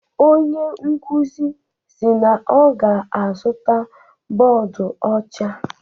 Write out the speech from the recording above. Onye nkuzi si na ọ ga-azụta bọọdụ ọcha.